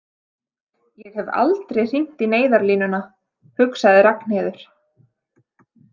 Ég hef aldrei hringt í neyðarlínuna, hugsaði Ragnheiður.